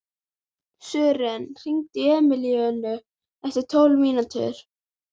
Sören, hringdu í Emilíönnu eftir tólf mínútur.